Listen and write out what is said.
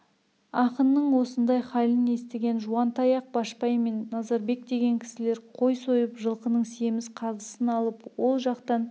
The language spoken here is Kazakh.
ақынның осындай халін естіген жуантаяқ башпай мен назарбек деген кісілер қой сойып жылқының семіз қазысын алып ол жатқан